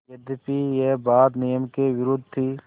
यद्यपि यह बात नियम के विरुद्ध थी